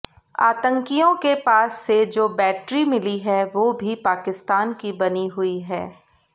आतंकियों के पास से जो बैटरी मिली है वो भी पाकिस्तान की बनी हुई है